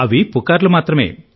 అవి పుకార్లు మాత్రమే